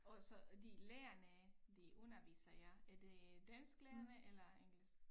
Og så de lærerne de underviser jer er det dansklærerne eller engelsk